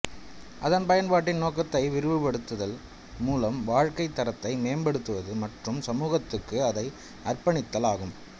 அதன் பயன்பாட்டின் நோக்கத்தை விரிவுபடுத்துதல் மூலம் வாழ்க்கைத் தரத்தை மேம்படுத்துவது மற்றும் சமூகத்துக்கு அதை அர்ப்பணித்தல் ஆகும்